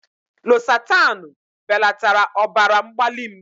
Losatanu belatara ọbara mgbali m.